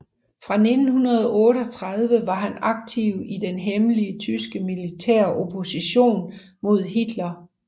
Fra 1938 var han aktiv i den hemmelige tyske militæropposition mod Hitler